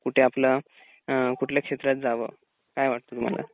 कुठे आपला अ कुठल्या क्षेत्रात जावं काय वाटत तुम्हाला?